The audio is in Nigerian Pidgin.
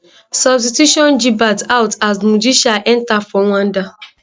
substitution gibert out as mugisha enta for rwanda